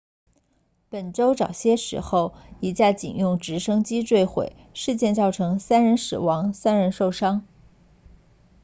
本周早些时候一架警用直升机坠毁事件造成3人死亡3人受伤